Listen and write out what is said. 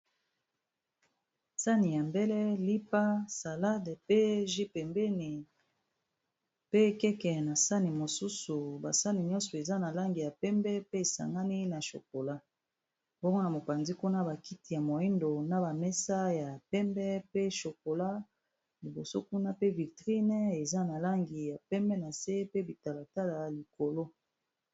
Sani ya mbele lipa, salade, pe jus pembeni pe keke na sani mosusu ba sani nyonso eza na langi ya pembe pe esangani na chokola bongo na mopanzi kuna ba kiti ya moyindo na ba mesa ya pembe pe chokola liboso kuna pe victrine eza na langi ya pembe na se pe bitalatala ya likolo.